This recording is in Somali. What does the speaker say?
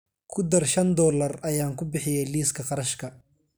ku dar shan doollar ayaan ku bixiyay liiska qarashka